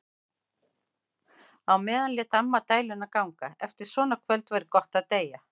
Á meðan lét amma dæluna ganga: Eftir svona kvöld væri gott að deyja.